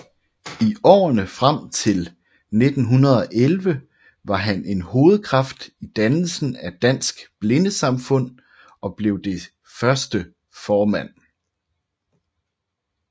I årene frem til 1911 var han en hovedkraft i dannelsen af Dansk Blindesamfund og blev dets første formand